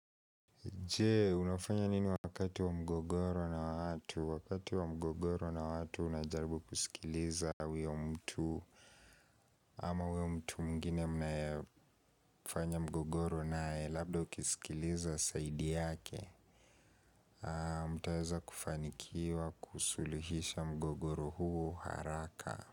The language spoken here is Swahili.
Je? Unafanya nini wakati wa mgogoro na watu? Wakati wa mgogoro na watu unajaribu kusikiliza huyo mtu. Ama huyo mtu mwingine mnayefanya mgogoro naye. Labda ukisikiliza side yake. Mtaweza kufanikiwa kusuluhisha mgogoro huo haraka.